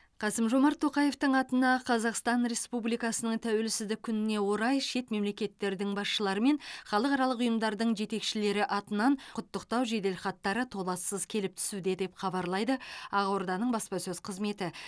қасым жомарт тоқаевтың атына қазақстан республикасының тәуелсіздік күніне орай шет мемлекеттердің басшылары мен халықаралық ұйымдардың жетекшілері атынан құттықтау жеделхаттары толассыз келіп түсуде деп хабарлайды ақорданың баспасөз қызметі